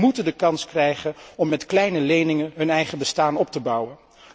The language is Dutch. Zij moeten de kans krijgen om met kleine leningen een eigen bestaan op te bouwen.